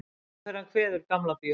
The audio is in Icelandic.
Óperan kveður Gamla bíó